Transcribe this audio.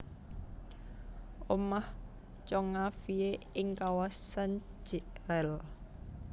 Omah Tjong A Fie ing kawasan Jl